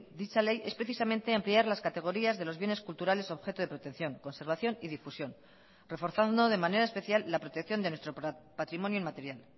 dicha ley es precisamente ampliar las categorías de los bienes culturales objeto de protección conservación y difusión reforzando de manera especial la protección de nuestro patrimonio inmaterial